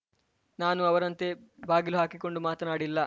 ನಾನು ಅವರಂತೆ ಬಾಗಿಲು ಹಾಕಿಕೊಂಡು ಮಾತನಾಡಿಲ್ಲ